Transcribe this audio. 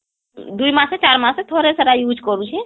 ଦୁଇ ମାସେ ଚାର ମାସେ ଥରେ ସେଟା use କରୁଛି